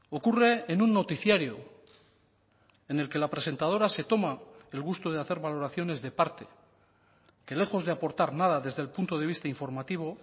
ocurre en un noticiario en el que la presentadora se toma el gusto de hacer valoraciones de parte que lejos de aportar nada desde el punto de vista informativo